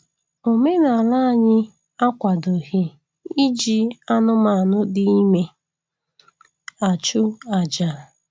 Omenaala anyị akwadoghị iji anụmanụ dị ime achụ aja